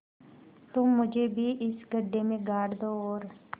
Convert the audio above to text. तुम मुझे भी इस गड्ढे में गाड़ दो और